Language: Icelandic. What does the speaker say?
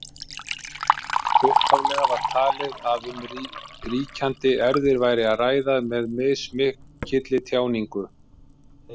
Upphaflega var talið að um ríkjandi erfðir væri að ræða með mismikilli tjáningu.